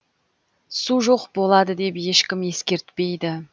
су жоқ болады деп ешкім ескертпейді